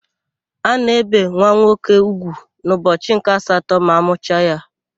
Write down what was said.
A na-ébè nwa nwoke úgwù n'ụbọchị nke asatọ ma amụcha ya.